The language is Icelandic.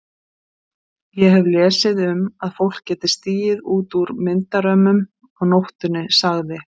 Ég hef lesið um að fólk geti stigið út úr myndarömmunum á nóttunni sagði